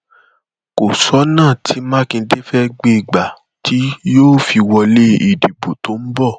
kò sọnà tí mákindé fẹẹ gbé e gbà tí yóò fi wọlé ìdìbò tó ń bọ